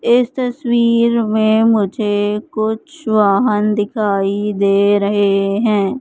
इस तसवीर में मुझे कुछ वाहन दिखाई दे रहे है।